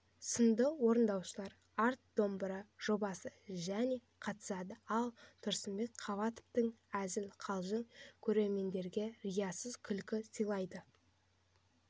сынды орындаушылар арт домбыра жобасы және қатысады ал тұрсынбек қабатовтың әзіл-қалжыңы көрермендерге риясыз күлкі сыйлайды